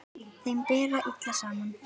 Þeim ber illa saman.